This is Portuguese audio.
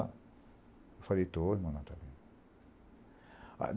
Eu falei, estou, irmão Natalino.